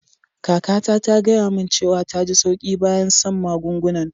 Kaka ta, ta gaya mun cewa ta ji sauƙi bayan san'magungunan.